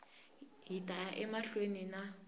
hi ta ya emahlweni na